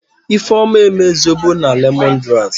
Ifeoma eme zobo na lemongrass.